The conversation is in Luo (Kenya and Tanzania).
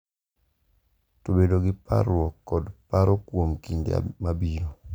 To bedo gi parruok kod paro kuom kinde mabiro.